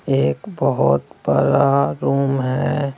एक बहुत बरा रूम है।